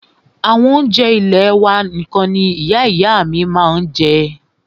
Àwọn oúnjẹ ilẹ́ wà nìkan ní Ìyá ìyá à mí ma ń jẹ́.